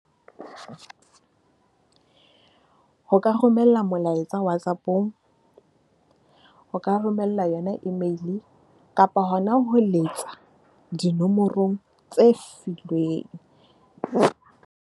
O ka romella molaetsa Whatsapp-ong, o ka romella yona email kapa hona ho letsa dinomorong tse filweng.